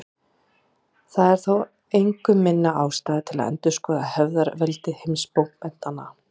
Það er þó engu minni ástæða til að endurskoða hefðarveldi heimsbókmenntanna.